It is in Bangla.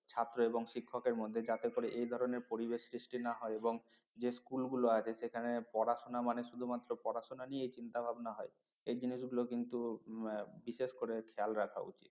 ছাত্র এবং শিক্ষকের মধ্যে যাতে করে এই ধরনের পরিবেশ সৃষ্টি না হয় এবং যে school গুলো আছে সেখানে পড়াশোনা মানে শুধুমাত্র পড়াশোনা নিয়ে চিন্তাভাবনা হয় এই জিনিসগুলো কিন্তু বিশেষ করে খেয়াল রাখা উচিত